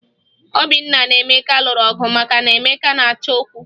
Obinna na Emeka lụrụ ọgụ maka na Emeka na-achọ okwu